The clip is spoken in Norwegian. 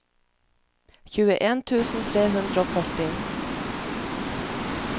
tjueen tusen tre hundre og førti